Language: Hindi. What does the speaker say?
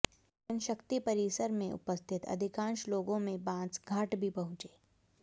जनशक्ति परिसर में उपस्थित अधिकांश लोगों में बांस घाट भी पहुंचे